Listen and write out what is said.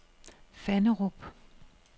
Fannerup